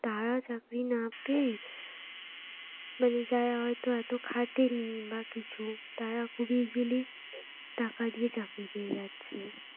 তারা চাকরি না পেয়ে মানে যারা হয়তো এত খাটে নি বা কিছু তারা খুবই easily টাকা দিয়ে চাকরি পেয়ে যাচ্ছে